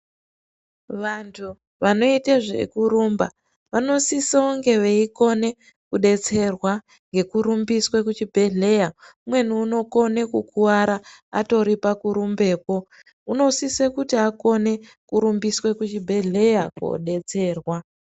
Vantu vanoite zvekurumba, vanosise kunge veyikone kudetserwa ngekurumbiswe kuchibhedhleya. Umweni unokone kukuwara atoripa kurumbeko. Unosise kuti akone kurumbiswe kuchibhedhleya kodetserwa.